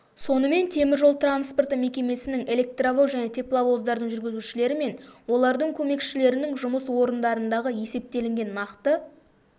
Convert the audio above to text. сонымен теміржол транспорты мекемесінің электровоз және тепловоздардың жүргізушілері мен олардың көмекшілерінің жұмыс орындарындағы есептелінген нақты